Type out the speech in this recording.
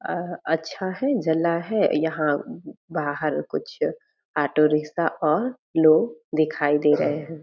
अम अच्छा है जला है यहाँ अम बाहर कुछ ऑटो रिक्शा और लोग दिखाई दे रहे हैं ।